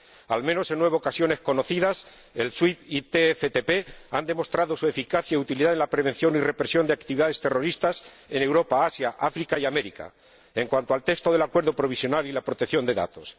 Al menos en nueve ocasiones conocidas el SWIFT y el TFTP han demostrado su eficacia y utilidad en la prevención y represión de actividades terroristas en Europa, Asia, África y América en cuanto al texto del Acuerdo provisional y la protección de datos.